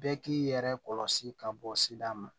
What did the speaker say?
Bɛɛ k'i yɛrɛ kɔlɔsi ka bɔ sida ma